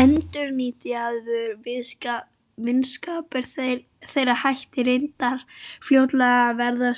Endurnýjaður vinskapur þeirra hætti reyndar fljótlega að vera